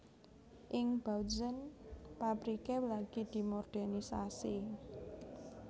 Ing Bautzen pabriké lagi dimodèrnisasi